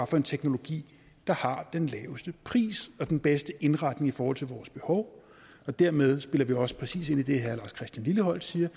for en teknologi der har den laveste pris og den bedste indretning i forhold til vores behov og dermed spiller vi også præcis ind i det herre lars christian lilleholt siger